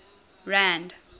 rand